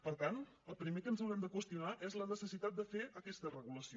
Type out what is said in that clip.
per tant el primer que ens haurem de qüestionar és la necessitat de fer aquesta regulació